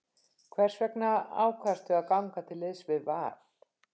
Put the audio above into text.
Hvers vegna ákvaðstu að ganga til liðs við Val?